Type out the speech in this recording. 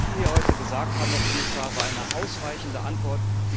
Was Sie hier heute gesagt haben, Herr Kommissar, war eine ausweichende Antwort.